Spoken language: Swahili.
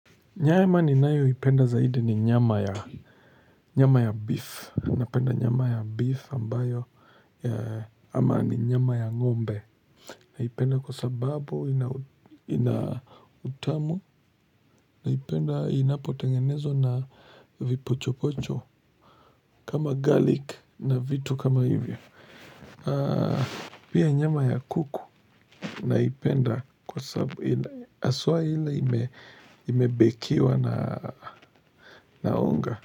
Nyama ninayoipenda zaidi ni nyama ya beef. Napenda nyama ya beef ambayo ama ni nyama ya ngombe. Naipenda kwa sababu ina utamu. Naipenda inapotengenezwa na vipocho pocho. Kama garlic na vitu kama hivyo. Pia nyama ya kuku. Naipenda kwa sababu aswa ile imebekiwa na unga.